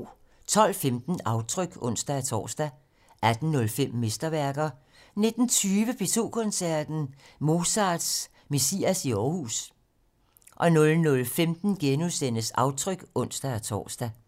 12:15: Aftryk (ons-tor) 18:05: Mesterværker 19:20: P2 Koncerten - Mozarts Messias i Aarhus 00:15: Aftryk *(ons-tor)